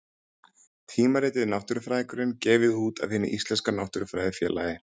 Tímaritið Náttúrufræðingurinn, gefið út af Hinu íslenska náttúrufræðifélagi.